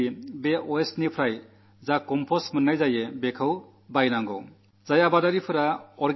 മാലിന്യങ്ങളിൽ നിന്ന് ഉണ്ടാക്കുന്ന കമ്പോസ്റ്റ് വാങ്ങാൻ തയ്യാറാകണം എന്ന് ഫെർട്ടിലൈസർ കമ്പനികളോടു പറഞ്ഞിട്ടുണ്ട്